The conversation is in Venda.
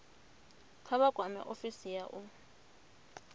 kha vha kwame ofisi ya